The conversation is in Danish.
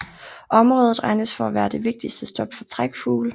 Området regnes for at være det vigtigste stop for trækfugle